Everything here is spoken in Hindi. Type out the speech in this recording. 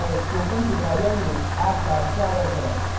classes बनाने पर spoken tutorial में आपका स्वागत है